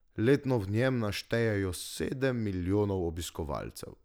Letno v njem naštejejo sedem milijonov obiskovalcev.